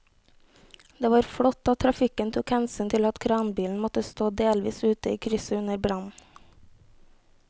Det var flott at trafikken tok hensyn til at kranbilen måtte stå delvis ute i krysset under brannen.